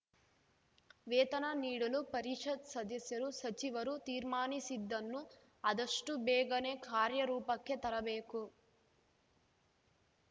ವೇತನ ನೀಡಲು ಪರಿಷತ್‌ ಸದಸ್ಯರು ಸಚಿವರು ತೀರ್ಮಾನಿಸಿದ್ದನ್ನು ಆದಷ್ಟುಬೇಗನೆ ಕಾರ್ಯ ರೂಪಕ್ಕೆ ತರಬೇಕು